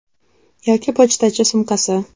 Yoki pochtachi sumkasi.